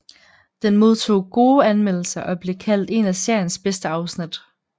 Den modtog gode anmeldelser og blev kaldt en af seriens bedste afsnit